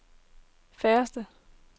færreste